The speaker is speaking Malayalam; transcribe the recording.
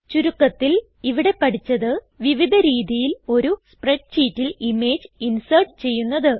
ചുരുക്കത്തിൽ ഇവിടെ പഠിച്ചത് വിവിധ രീതിയിൽ ഒരു സ്പ്രെഡ് ഷീറ്റിൽ ഇമേജ് ഇൻസേർട്ട് ചെയ്യുന്നത്